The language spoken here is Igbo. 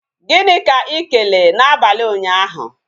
Gịnị ka ị kelee na abalị ụnyaahụ?